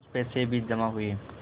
कुछ पैसे भी जमा हुए